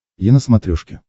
е на смотрешке